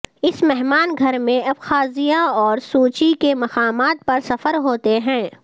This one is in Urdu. اس مہمان گھر میں ابخازیا اور سوچی کے مقامات پر سفر ہوتے ہیں